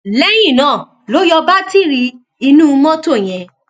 lẹyìn náà ló yọ bátìrì inú mọtò yẹn